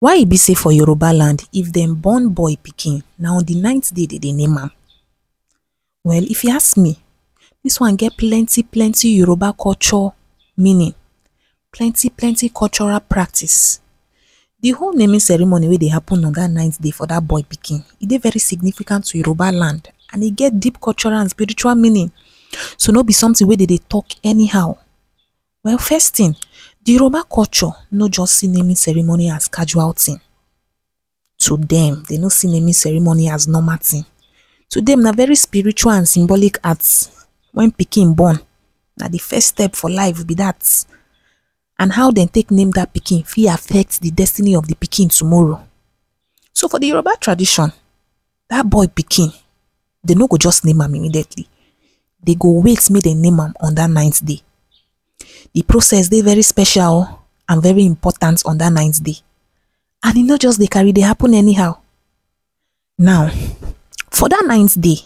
Why e be sey for Yoruba land if dem born boy pikin na on de ninth day dem dey name am? well if you ask me dis one get plenty plenty Yoruba culture meaning plenty plenty cultural practice de whole naming ceremony wey dey happen on de ninth day for de boy pikin e dey very very significant to Yoruba land and e get dat get deep and culture meaning, so be something wey de de talk anyhow. well first thing dey Yoruba culture no see naming ceremony as casual thing, to dem dem no see naming ceremony as normal thing to dem na very spiritual and symbolic act when pikin born na de first step for life time be dat and how dem take name dat pikin fit affect de destiny of dat pikin tomorrow. so for de Yoruba tradition dat boy pikin dem no go just name am immediately dem go wait make dem name am on dat ninth day. de process dey very special o and very important on dat ninth day and e no dey carry e dey happen anyhow now for dat ninth day,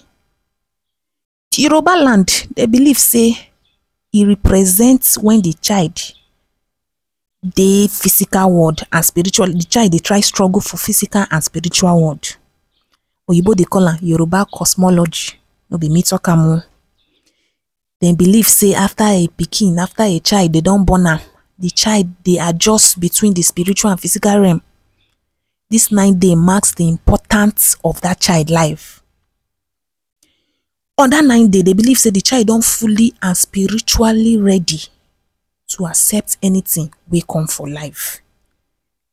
de Yoruba landed de believe sey e represent when de child dey physical world and spiritual de child de try struggle for physical and spiritual world oyimbo dey call am Yoruba cosmology no be me talk am o. dem believe sey after a pikin after a child dey don born d child dey adjust spiritual and physical realm dis nine day marks dey important of that child life on dat ninth day dey believe sey dey child don fully and spiritual ready to accept anything wey come for life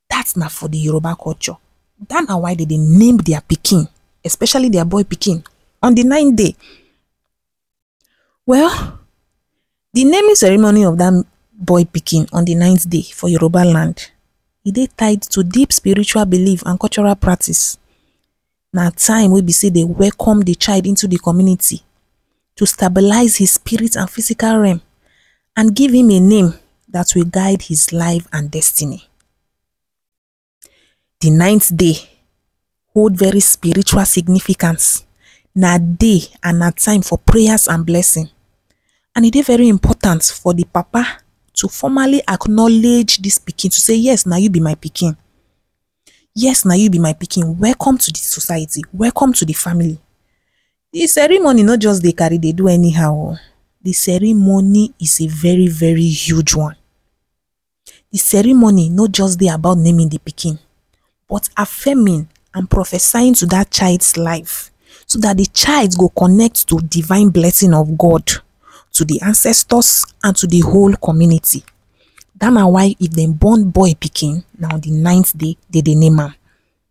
dat na for Yoruba culture dat na why dem dey name their pikin especially their boy pikin especially on de ninth day well de naming ceremony of dat boy pikin on de ninth day for Yoruba land e dey tight to deep spiritual believe and cultural practice na time wey be sey dem welcome de child into the community to stabilize his spirit and physical realm and give him a name dat will guard his life and destiny. de ninth day hold very spiritual significant na day and na time for prayers and blessings and e dey very Important for de papa to formerly acknowledge dis pikin to sey yes na you be my pikin yes na you be my pikin welcome to the society, welcome to de family the ceremony no dey just carry any how de ceremony is a very very hug one de ceremony no just dey about naming de pikin but affirming and prophesying into dat child’s life so dat de child go connect to divine blessing of god to de ancestors and to d whole community dat na why if dem born boy pikin na de ninth day name am on de ninth day dem dey name am